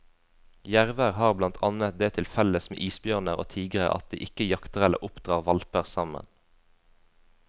Jerver har blant annet det til felles med isbjørner og tigrer at de ikke jakter eller oppdrar hvalper sammen.